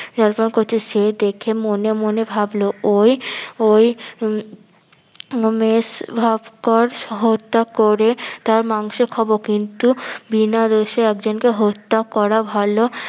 জল পান করছে সে দেখে মনে মনে ভাবলো ঐ ঐ উম সহ হত্যা করে তার মাংস খাবো কিন্তু বিনা দোষে একজনকে হত্যা করা ভালো